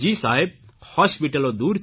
સાહેબ હોસ્પીટલો દૂર છે